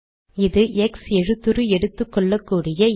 இது எக்ஸ் எழுத்துரு எடுத்துக்கொள்ளக்கூடிய இடம்